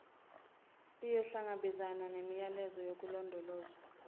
iyohlangabezana nemiyalelo yokulondolozwa